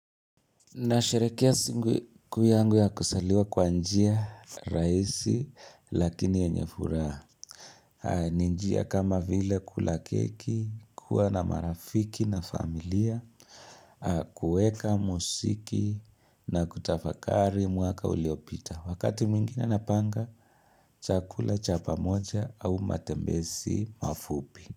Na sherekea siku kuu yangu ya kuzaliwa kwa njia, rahisi, lakini yenye furaha. Ni njia kama vile kula keki, kuwa na marafiki na familia, kuweka muziki na kutafakari mwaka uliopita. Wakati mwingine napanga, chakula cha pamoja au matembezi mafupi.